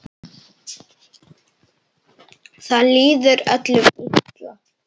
Það líður öllum illa.